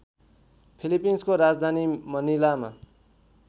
फिलिपिन्सको राजधानी मनिलामा